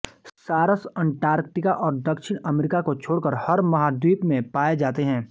सारस अंटार्कटिका और दक्षिण अमेरिका को छोड़कर हर महाद्वीप में पाए जाते हैं